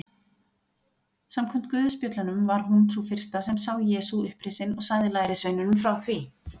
Samkvæmt guðspjöllunum var hún sú fyrsta sem sá Jesú upprisinn og sagði lærisveinunum frá því.